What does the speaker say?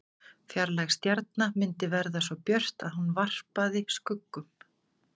Fjarlæg stjarna myndi verða svo björt að hún varpaði skuggum.